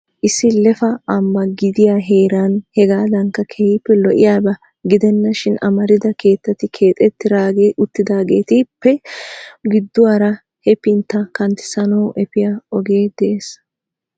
Issi lefa ambba gidiyaa heeran hegadankka keehippe lo"iyaaba gidena shin amarida keettati keexxeri uttidaagetuppe gidduwaara hefintta kanttissanaw efiyaa ogee de'ees.